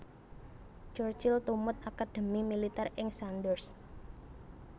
Churchill tumut akadhemi militèr ing Sandhurst